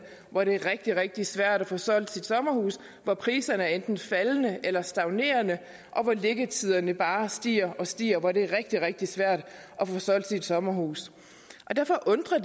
hvor det er rigtig rigtig svært at få solgt sit sommerhus hvor priserne enten er faldende eller stagnerende hvor liggetiderne bare stiger og stiger og hvor det er rigtig rigtig svært at få solgt sit sommerhus derfor undrer